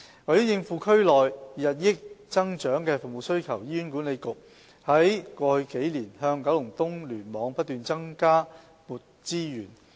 為應付區內日益增長的服務需求，醫院管理局在過去數年不斷向九龍東聯網增撥資源。